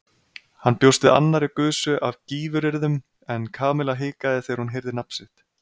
Hann bjóst við annarri gusu af gífuryrðum en Kamilla hikaði þegar hún heyrði nafnið sitt.